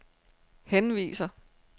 henviser